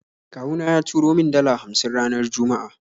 Kawuna ya turo min dala hamsin ranar Juma'a